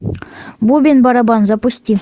бубен барабан запусти